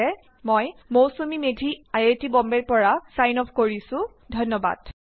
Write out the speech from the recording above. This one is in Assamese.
Ltdয়ে আৰু এইয়া হল Moushumi Medhi I I T বম্বেৰপৰা যোগদান কৰাৰ বাবে ধন্যবাদ